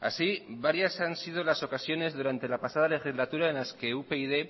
así varias han sido las ocasiones durante la pasada legislatura en las que upyd